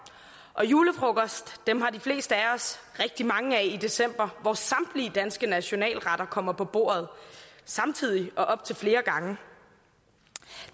og julefrokoster har de fleste af os rigtig mange af i december hvor samtlige danske nationalretter kommer på bordet samtidig og op til flere gange